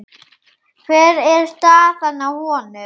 Hver er staðan á honum?